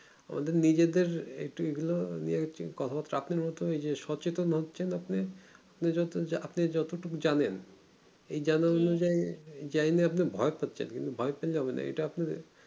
আমাদের নিজেদের এ একটু এই গুলো নিয়ে কথা চাপেন নিয়ে যে সচেতন হচ্ছেন যে আপনি যে আপনি যতটুকু জানেন এই জানা অনুযায়ী আপনি ভয় করছেন ভয় পেলে হবে না এটা আপনার